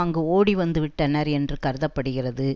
அங்கு ஓடி வந்து விட்டனர் என்று கருத படுகிறது